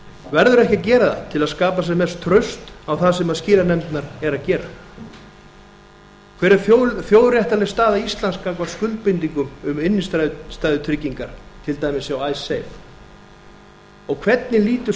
verður ekki að gera það til að skapa sem mest traust á það sem skilanefndirnar eru að gera hver er þjóðréttarleg staða íslands gagnvart skuldbindingum um innstæðutryggingar til dæmis hjá icesave og hvernig lítur